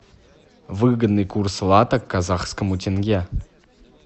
выгодный курс лата к казахскому тенге